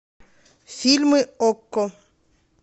фильмы окко